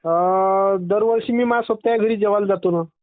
अअअ दरवर्षी मी माया सोबत्यांच्या घरी जेवायला जातो ना